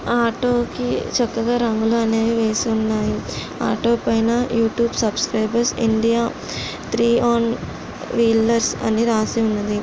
ఆ ఆటో కి చక్కగా రంగులు అనేవి వేసి ఉన్నాయి. ఆటో పైన YouTube subscribers India . Three on wheelers అని రాసి ఉన్నది.